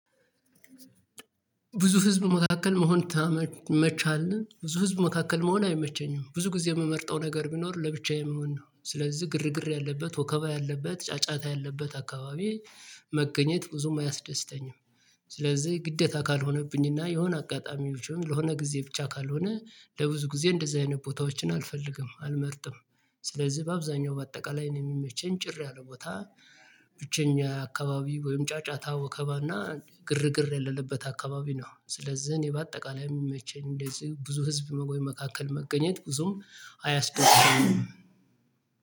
ብዙ ህዝብ መካከል መሆን ታመ ይመችሃል ብዙ ህዝብ መካከል መሆን አይመቸኝም። ብዙ ጊዜ እምመርጠው ነገር ቢኖር ለብቻዬ መሆን ነው። ስለዚህ ግርግር ያለበት ወከባ ያለበት ጫጫታ ያለበት አካባቢ መገኘት ብዙም አያስደስተኝም። ስለዚህ ግደታ ካልሆነብኝና የሆነ አጋጣሚዎች ለሆነ ጊዜ ብቻ ካልሆነ ለብዙ ጊዜ እንደዚህ አይነት ቦታዎችን አልፈልግም አልመርጥም። ስለዝህ በአብዛኛው በአጠቃላይ እኔ እሚመቸኝ ጭር ያለ ቦታ ብቸኛ አካባቢ ወይም ጫጫታ ወከባና ግርግር የለለበት አካባቢ ነው። ስለዝህ እኔ በአጠቃላይ እሚመቸኝ እንደዚህ ብዙ ህዝብ መቆይ መካከል መገኘት ብዙም አያስደስተኝም